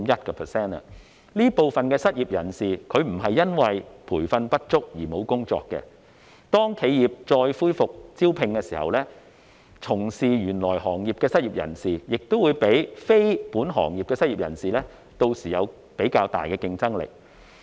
這部分失業人士不是因為培訓不足而沒有工作，當企業再恢復招聘時，從事原行業的失業人士應會較非本行業的失業人士有較大的競爭力。